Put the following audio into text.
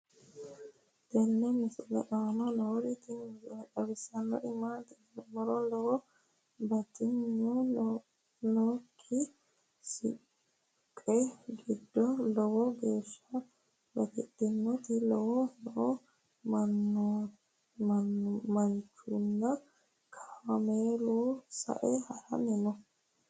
tenne misile aana noorina tini misile xawissannori maati yinummoro lowo batidhdhinnokki suuqqe gido lowo geeshsha batidhinnotte laallo noo manchunno kaammelunni sae haranni noo